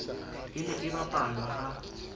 e ne e bapalwa ha